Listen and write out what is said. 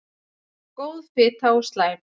Góð fita og slæm